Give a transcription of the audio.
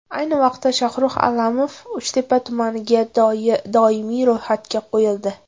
Ayni vaqtda Shohrux Allamov Uchtepa tumaniga doimiy ro‘yxatga qo‘yildi.